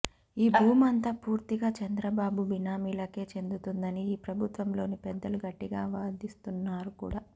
ఈ భూమంతా పూర్తిగా చంద్రబాబు బినామీలకే చెందుతుందని ఈ ప్రభుత్వంలోని పెద్దలు గట్టిగా వాదిస్తున్నారుకూడా